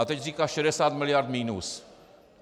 A teď říká 60 miliard minus.